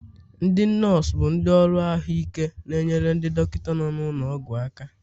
ndị nọọsụ bụ ndị ọrụ ahụike na-enyere ndị dọkịta nọ n'ụlọ ọgwụ aka